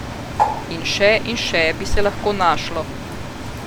In še in še bi se lahko našlo.